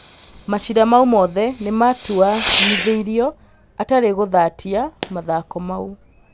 Macira mau mothe nĩmatuanithirio atarĩ gũthatia mathako mau.